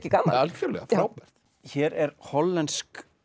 gaman algjörlega frábært hér er hollensk